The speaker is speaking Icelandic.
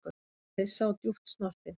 Hálfhissa og djúpt snortinn